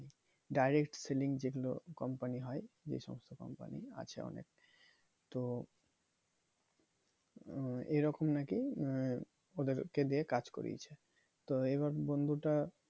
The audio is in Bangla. direct selling যেগুলো company হয়ে যে সমস্ত company আছে অনেক তো এই রকম নাকি ওদেরকে দিয়ে কাজ করিয়েছে তো এইবার বন্ধুটা